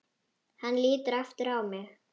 Hann lítur aftur á mig.